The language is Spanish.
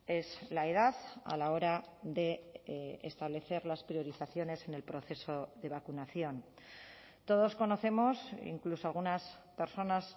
es la edad a la hora de establecer las priorizaciones en el proceso de vacunación todos conocemos incluso algunas personas